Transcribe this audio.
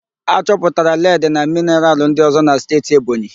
A chọpụtara ledi na mịnaral ndịọ̀zọ́ n'Steeti Ebonyi